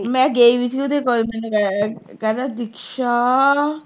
ਮੈਂ ਗਈ ਵੀ ਸੀ ਉਹਦੇ ਕੋਲ, ਮੈਨੂੰ ਕਹਿ ਅਹ ਕਹਿੰਦਾ ਦੀਕਸ਼ਾ